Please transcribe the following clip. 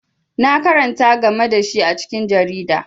Na karanta game da shi a cikin jarida.